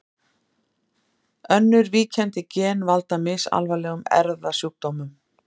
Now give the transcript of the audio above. Önnur víkjandi gen valda misalvarlegum erfðasjúkdómum.